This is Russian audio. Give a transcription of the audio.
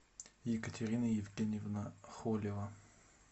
екатерина евгеньевна холева